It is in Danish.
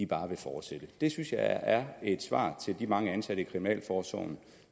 bare vil fortsætte det synes jeg er et svar til de mange ansatte i kriminalforsorgen